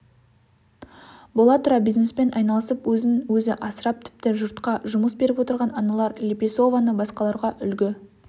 бола тұра бизнеспен айналысып өзін өзіасырап тіпті жұртқа жұмыс беріп отырған анар лепесованы басқаларға үлгі